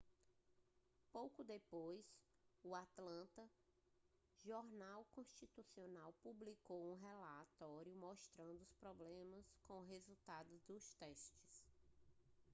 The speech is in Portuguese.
pouco depois o atlanta journal-constitution publicou um relatório mostrando problemas com os resultados dos testes